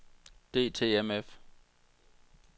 DTMF